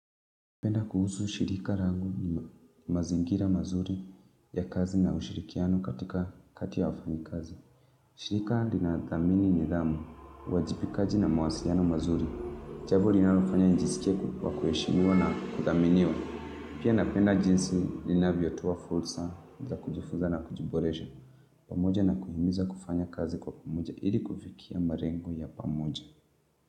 Napenda kuhusu ushirika rangu ni mazingira mazuri ya kazi na ushirikiano katika kati ya wafanyikazi. Shirika linadhamini nidhamu, uwajipikaji na mawasiliano mazuri. Jambo linalofanya njisikie kwa kuheshimiwa na kuthaminiwa. Pia napenda jinsi linavyo toa fulsa za kujifuza na kujiboresha. Pamoja na kuhimiza kufanya kazi kwa pamoja ili kufikia marengo ya pamoja.